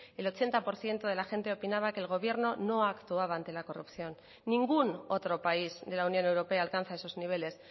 el ochenta por ciento de la gente opinaba que el gobierno no actuaba ante la corrupción ningún otro país de la unión europea alcanza esos niveles